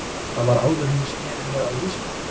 Það var áður en ég sneri mér að viðskiptum.